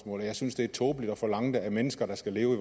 og jeg synes det er tåbeligt at forlange det af mennesker der skal leve